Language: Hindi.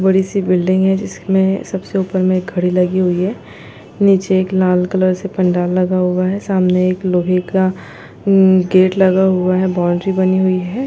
बड़ी सी बिल्डिंग है जिसमें सबसे ऊपर में घड़ी लगी हुई है निचे एक लाल कलर से पंडाल लगा हुआ है सामने एक लोहे का गेट लगा हुआ है बाउन्ड्री बानी हुई है।